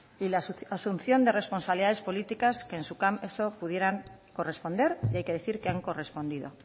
y la asunción de responsabilidades políticas que en su caso pudieran corresponder y hay que decir que han correspondido